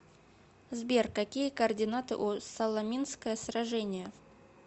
сбер какие координаты у саламинское сражение